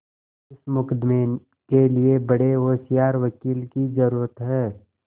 इस मुकदमें के लिए बड़े होशियार वकील की जरुरत है